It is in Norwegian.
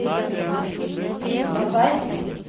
Sturla Tveit